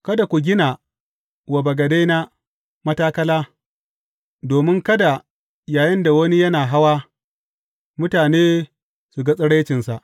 Kada ku gina wa bagadena matakala, domin kada yayinda wani yana hawa, mutane su ga tsiraicinsa.